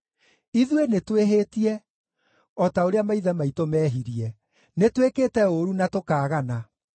Ithuĩ nĩtwĩhĩtie, o ta ũrĩa maithe maitũ meehirie; nĩtwĩkĩte ũũru na tũkaagana.